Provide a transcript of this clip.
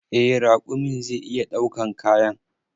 Eh raƙumin zai iya ɗaukan kayan.